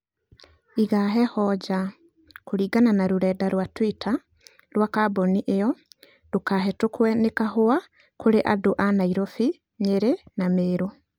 iga heho njaa," Kũringana na rũrenda rwa Twitter rwa kambuni ĩyo, "ndũkahĩtũkwe nĩ kahũa kũrĩ andu a Nairobi, Nyeri na Meru".